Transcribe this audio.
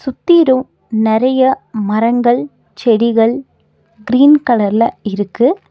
உத்தீரு நெறைய மரங்கள் செடிகள் கிரீன் கலர்ல இருக்கு.